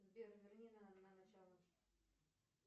сбер верни на начало